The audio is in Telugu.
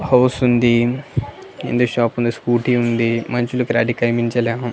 హౌస్ ఉంది కింద షాపు ఉంది స్కూటీ ఉంది మనుషులు క్లారిటీగా కనిపించలేమో.